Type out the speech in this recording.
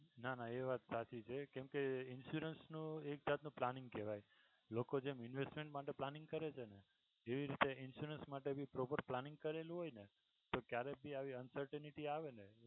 ના ના એ વાત સાચી છે કેમ કે insurance નું એક જાતનું planning કેહવાય લોકો જેમ investment માટે જેમ planning કરે છે ને એવી રીતે insurance માટે ભી proper planning કરેલું હોય ને ક્યારેક આવી uncertainity આવે ને